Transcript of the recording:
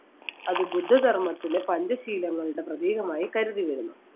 അത് ബുദ്ധ ധർമ്മത്തിലെ പഞ്ചശീലങ്ങളുടെ പ്രതീകമായി കരുതുന്നു.